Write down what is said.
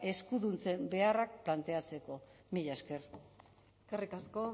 eskuduntzen beharrak planteatzeko mila esker eskerrik asko